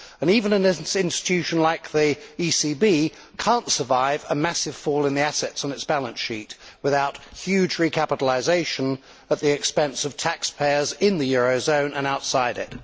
And even an institution like the ECB cannot survive a massive fall in the assets on its balance sheet without huge recapitalisation at the expense of taxpayers in the eurozone and outside it.